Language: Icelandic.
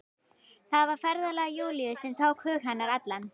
Það var ferðalag Júlíu sem tók hug hennar allan.